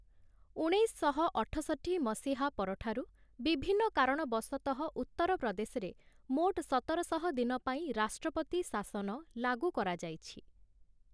ଉଣେଇଶଶହ ଅଠଷଠି ମସିହା ପରଠାରୁ, ବିଭିନ୍ନ କାରଣବଶତଃ ଉତ୍ତର ପ୍ରଦେଶରେ ମୋଟ ସତରଶହ ଦିନ ପାଇଁ, ରାଷ୍ଟ୍ରପତି ଶାସନ ଲାଗୁ କରାଯାଇଛି ।